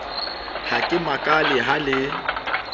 ha ke makale ha le